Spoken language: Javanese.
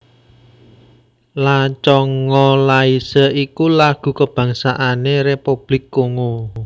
La Congolaise iku lagu kabangsané Republik Kongo